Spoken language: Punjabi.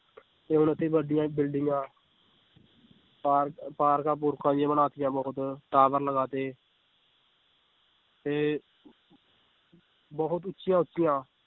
ਤੇ ਹੁਣ ਇੱਥੇ ਵੱਡੀਆਂ ਬਿਲਡਿੰਗਾਂ ਪਾਰ~ ਪਾਰਕਾਂ ਪੂਰਕਾਂ ਵੀ ਬਣਾ ਦਿੱਤੀਆਂ ਬਹੁਤ tower ਲਗਾ ਦਿੱਤੇ ਤੇ ਬਹੁਤ ਉੱਚੀਆਂ ਉੱਚੀਆਂ